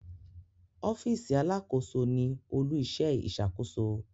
Ọfiisi Alàkóso ní olu-iṣẹ iṣakoso